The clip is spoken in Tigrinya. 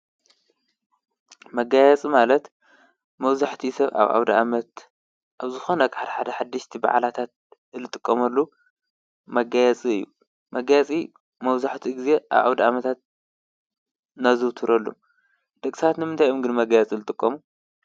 መጋየፂ ማለት መብዛሕትኡ ሰብ አብ አውዳ አመት አብ ዝኮነ ሓደ ሓደ ሓደሽቲ በዓላት ዝጥቀመሉ መጋየፂ እዩ። መጋየፂ መብዛሕትኡ ግዘ አብ አውዳአመታት ነዘውትሮ። ደቂ ሰባት ንምንታይ እዮም ግን መጋየፂ ዝጥቀሙ?